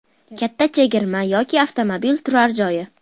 Katta chegirma yoki avtomobil turar joyi?